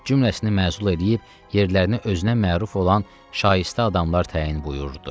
Cümləsini məzul eləyib, yerlərinə özünə məruf olan şayistə adamlar təyin buyurdu.